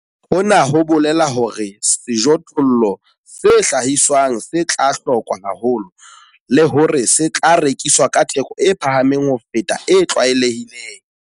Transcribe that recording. Hona ho bolela hore sejothollo se hlahiswang se tla hlokwa haholo, le hore se tla rekiswa ka theko e phahameng ho feta e tlwaelehileng.